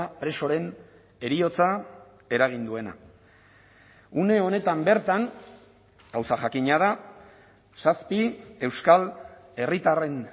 presoren heriotza eragin duena une honetan bertan gauza jakina da zazpi euskal herritarren